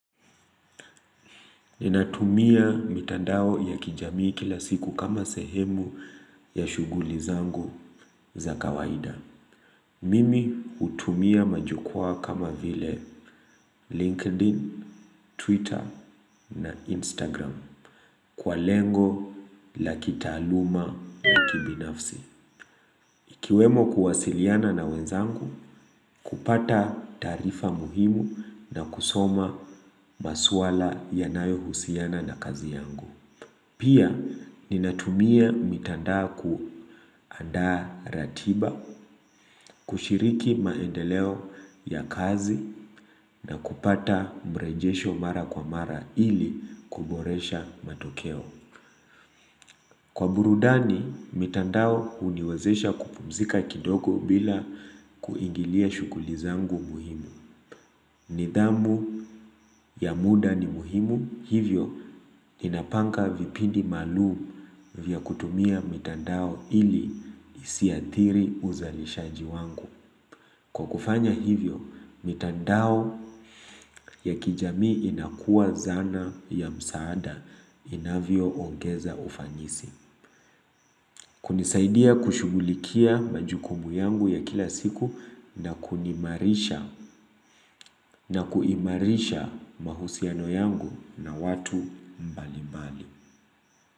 Ninatumia mitandao ya kijamii kila siku kama sehemu ya shughuli zangu za kawaida. Mimi hutumia majukwaa kama vile LinkedIn, Twitter na Instagram. Kwa lengo, la kitaaluma, la kibinafsi. Ikiwemo kuwasiliana na wenzangu, kupata taarifa muhimu na kusoma maswala yanayo husiana na kazi yangu. Pia, ninatumia mitandao kuandaa ratiba, kushiriki maendeleo ya kazi na kupata mrejesho mara kwa mara ili kuboresha matokeo. Kwa burudani, mitandao huniwezesha kupumzika kidogo bila kuingilia shughuli zangu muhimu. Nidhamu ya muda ni muhimu, hivyo ninapanga vipindi maalumu vya kutumia mitandao ili nisiathiri uzalishaji wangu. Kwa kufanya hivyo, mitandao ya kijamii inakuwa zana ya msaada inayoongeza ufanisi. Hunisaidia kushughulikia majukumu yangu ya kila siku na kuniimarisha na kuimarisha mahusiano yangu na watu mbalimbali.